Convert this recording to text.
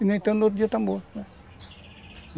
E no entanto, no outro dia estão mortos, né?